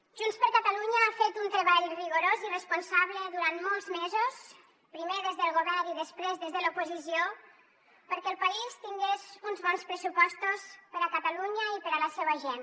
junts per catalunya ha fet un treball rigorós i responsable durant molts mesos primer des del govern i després des de l’oposició perquè el país tingués uns bons pressupostos per a catalunya i per a la seua gent